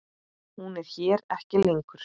Hún er hér ekki lengur.